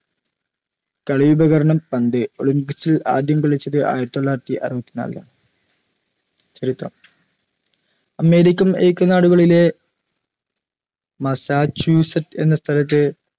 കളിയുപകരണം പന്ത് olympics ൽ ആദ്യം കളിച്ചത് ആയിരത്തി തൊള്ളായിരത്തി അറുപത്തിനാലിലാണ് ചരിത്രം american ഐക്യനാടുകളിലെ മസാച്യുസെറ്റ് എന്ന സ്ഥലത്തെ